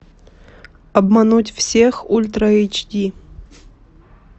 обмануть всех ультра эйч ди